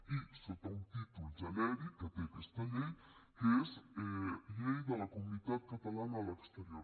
i sota un títol genèric que té aquesta llei que és llei de la comunitat catalana a l’exterior